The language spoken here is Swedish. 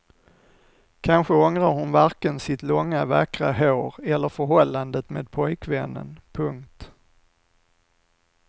Kanske ångrar hon varken sitt långa vackra hår eller förhållandet med pojkvännen. punkt